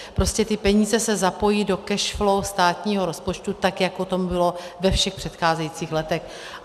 Prostě ty peníze se zapojí do cash flow státního rozpočtu tak, jako tomu bylo ve všech předcházejících letech.